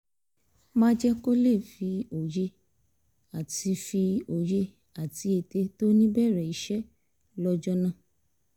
má jẹ́ kó lè máa fi òye àti fi òye àti ète tó ní bẹ̀rẹ̀ iṣẹ́ lọ́jọ́ náà